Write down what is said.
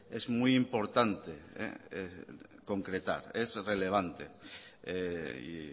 es muy importante concretar es relevante y